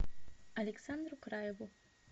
александру краеву